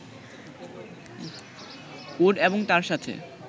code এবং তার সাথে